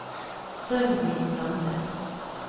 Sølvi Lande